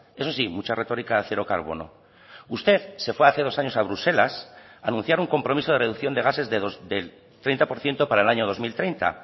eso sí mucha retórica de cero carbono usted se fue hace dos años a bruselas a anunciar un compromiso de reducción de gases del treinta por ciento para el año dos mil treinta